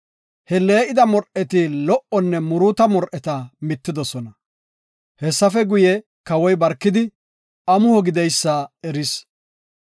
He lee7ida mor7eti lo77onne muruuta mor7eta mittidosona. Hessafe guye, Kawoy barkidi amuho gideysa eris.